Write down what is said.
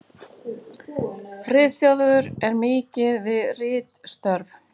Friðþjófur er mikið við ritstörf.